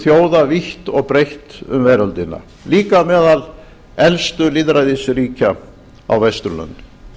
þjóða vítt og breytt um veröldina líka meðal elstu lýðræðisríkja á vesturlöndum